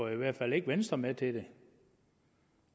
i hvert fald ikke venstre med til det